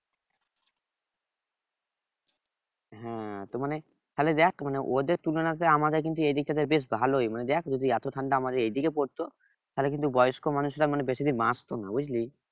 হ্যাঁ তো মানে তাহলে দেখ মানে ওদের তুলনাতে আমাদের কিন্তু এদিকটাতে বেশ ভালোই মানে দেখ যদি এত ঠান্ডা আমাদের এদিকে পড়তো তাহলে কিন্তু বয়স্ক মানুষরা মানে বেশি দিন বাঁচতো না বুঝলি